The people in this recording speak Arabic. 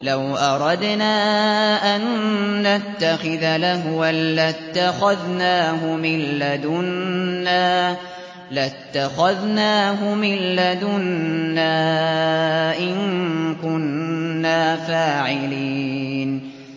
لَوْ أَرَدْنَا أَن نَّتَّخِذَ لَهْوًا لَّاتَّخَذْنَاهُ مِن لَّدُنَّا إِن كُنَّا فَاعِلِينَ